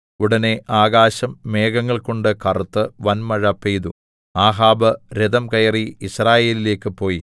ഉടനെ ആകാശം മേഘങ്ങൾ കൊണ്ട് കറുത്ത് വന്മഴ പെയ്തു ആഹാബ് രഥം കയറി യിസ്രായേലിലേക്ക് പോയി